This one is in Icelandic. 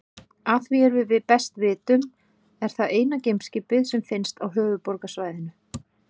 Að því er við best vitum er það eina geimskipið sem finnst á Höfuðborgarsvæðinu.